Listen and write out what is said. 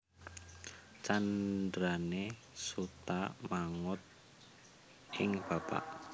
Candrané Suta manut ing bapa